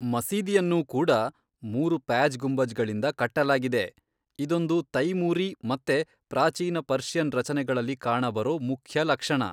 ಮಸೀದಿಯನ್ನೂ ಕೂಡಾ ಮೂರು ಪ್ಯಾಜ್ ಗುಂಬಜ್ಗಳಿಂದ ಕಟ್ಟಲಾಗಿದೆ, ಇದೊಂದು ತೈಮೂರೀ ಮತ್ತೆ ಪ್ರಾಚೀನ ಪರ್ಷಿಯನ್ ರಚನೆಗಳಲ್ಲಿ ಕಾಣಬರೋ ಮುಖ್ಯಲಕ್ಷಣ.